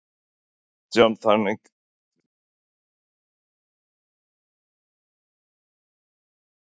Kristján: Þannig þið viljið ekki fara með veginn í gegnum göng?